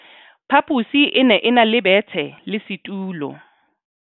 Phaposi e ne e na le bethe le setulo.